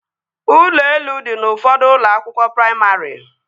Ụlọ elu dị n'ụfọdụ ụlọ akwụkwọ praimarị